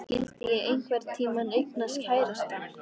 Skyldi ég einhvern tíma eignast kærasta?